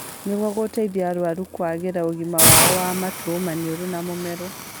Nĩguo gũteithia arũaru kwagĩria ũgima wao ma matũ, maniũrũ na mũmero